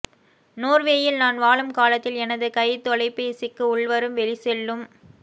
நோர்வேயில் நான் வாழும் காலத்தில் எனது கை தொலைப்பேசிக்கு உள்வரும் வெளி செல்லும்